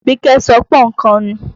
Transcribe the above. Àbíkẹ́ sọ pọ́nkan nù.